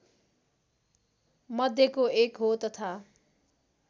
मध्येको एक हो तथा